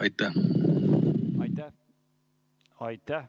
Aitäh!